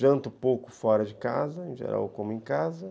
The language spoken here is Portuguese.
Janto pouco fora de casa, em geral como em casa.